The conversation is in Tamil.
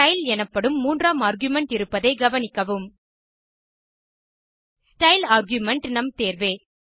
ஸ்டைல் எனப்படும் மூன்றாம் ஆர்குமென்ட் இருப்பதை கவனிக்கவும் ஸ்டைல் ஆர்குமென்ட் நம் தேர்வே